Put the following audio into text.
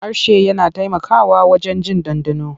Harshe yana taimakawa wajen jin ɗanɗano.